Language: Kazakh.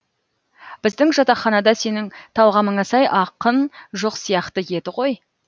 біздің жатақханада сенің талғамыңа сай ақын жоқ сияқты еді ғой